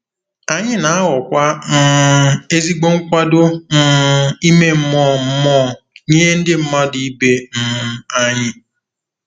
Anyị na-aghọkwa um ezigbo nkwado um ime mmụọ mmụọ nye ndị mmadụ ibe um anyị.